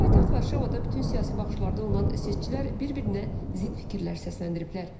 Paytaxt Varşavada bütün siyasi baxışlarda olan seçicilər bir-birinə zidd fikirlər səsləndiriblər.